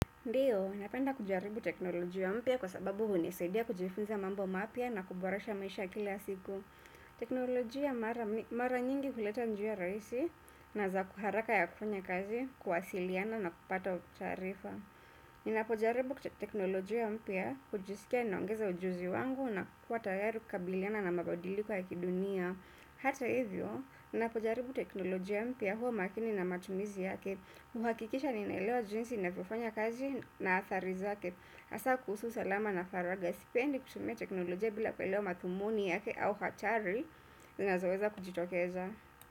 Ndiyo, napenda kujaribu teknolojia mpya kwa sababu hunisaidia kujifunza mambo mapya na kuboresha maisha kila siku. Teknolojia mara nyingi huleta njia rahisi na za ku haraka ya kufanya kazi, kuwasiliana na kupata taarifa. Ninapojaribu teknolojia mpya, kujisikia ninaongeza ujuzi wangu na kuwa tayari kukabiliana na mabadiliko ya kidunia. Hata hivyo, ninapojaribu teknolojia mpya, huwa makini na matumizi yake. Huhakikisha ninaelewa jinsi inavyofanya kazi na athari zake, hasa kuhusu usalama na faragha. Sipendi kutumia teknolojia bila kuelewa madhumuni yake au hatari zinazoweza kujitokeza.